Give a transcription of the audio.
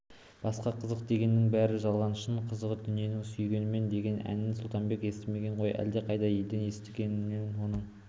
басқа қызық дегеннің бәрі жалған шын қызығы дүниенің сүйгенменен деген әнін сұлтанбек естімеген ғой әлдеқалай елден естігенмен оның